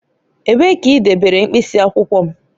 Ebee ka i debere mkpịsị akwụkwọ m?